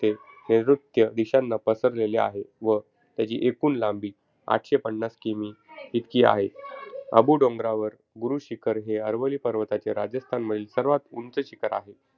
ते नैर्ऋत्य दिशांना पसरलेला आहे. व त्याची एकूण लांबी आठशे पन्नास kilometers इतकी आहे. अबू डोंगरावर, गुरू शिखर हे अरवली पर्वताचे राजस्थानमधील सर्वात उंच शिखर आहे.